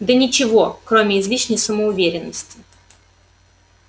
да ничего кроме излишней самоуверенности